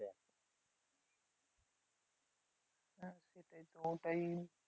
হ্যাঁ ওইটাই